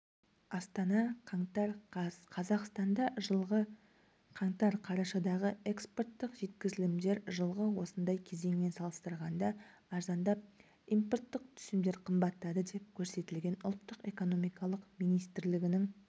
астана қаңтар қаз қазақстанда жылғы қаңтар-қарашадағы экспорттық жеткізілімдер жылғы осындай кезеңмен салыстырғанда арзандап импорттық түсімдер қымбаттады деп көрсетілген ұлттық экономика министрлігінің